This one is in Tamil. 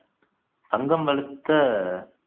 சங்கம் வளர்த்த